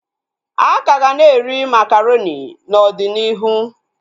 Akaga na-eri makaronị n'ọdịnihu